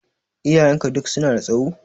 Iyayenka duk su na da tsaho?